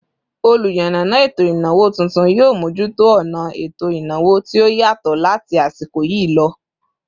Oluyanana eto ìnáwó tuntun, yio mojuto ona eto ìnáwó tí ó yatọ láti asiko yi lọ